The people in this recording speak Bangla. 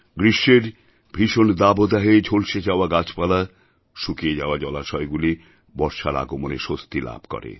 গ্রীষ্মের ভীষণ দাবদাহে ঝলসে যাওয়া গাছপালা শুকিয়ে যাওয়া জলাশয়গুলি বর্ষার আগমনে স্বস্তি লাভ করে